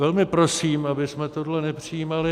Velmi prosím, abychom tohle nepřijímali.